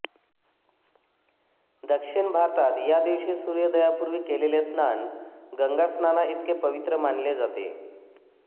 दक्षिण भारतात या दिवशी सूर्योदयापूर्वी केलेले स्नान गंगास्नानाइतके पवित्र मानले जाते